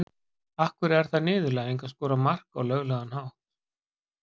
Af hverju er það niðurlæging að skora mark á löglegan hátt?